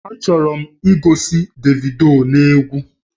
Achọrọ m igosi Davido n'egwu